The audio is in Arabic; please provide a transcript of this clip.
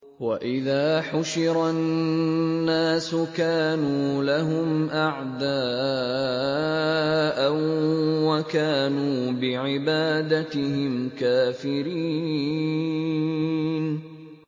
وَإِذَا حُشِرَ النَّاسُ كَانُوا لَهُمْ أَعْدَاءً وَكَانُوا بِعِبَادَتِهِمْ كَافِرِينَ